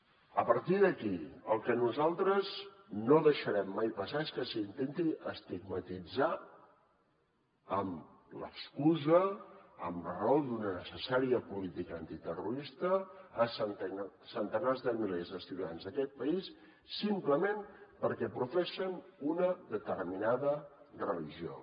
a partir d’aquí el que nosaltres no deixarem mai passar és que s’intenti estigmatitzar amb l’excusa a raó d’una necessària política antiterrorista centenars de milers de ciutadans d’aquest país simplement perquè professen una determinada religió